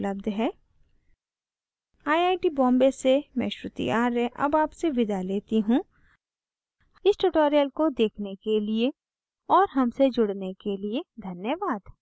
iit iit the Bombay से मैं श्रुति आर्य अब आपसे विदा लेती हूँ इस tutorial को देखने के लिए और हमसे जुड़ने के लिए धन्यवाद